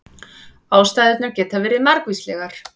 Ástæðurnar geta verið margvíslegar